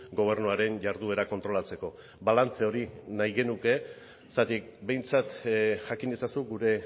gobernuaren jarduera kontrolatzeko balantze hori nahi genuke zergatik behintzat jakin ezazu gure